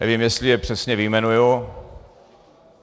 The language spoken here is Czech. Nevím, jestli je přesně vyjmenuji.